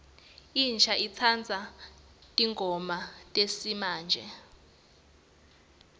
insha itsandza tingoma tesimamje